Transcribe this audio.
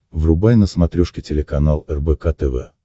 врубай на смотрешке телеканал рбк тв